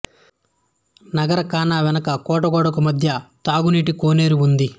నగారాఖానా వెనుక కోట గోడకు మధ్య తాగునీటి కోనేరు ఉంది